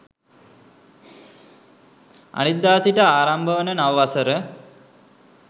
අනිද්දා සිට ආරම්භ වන නව වසර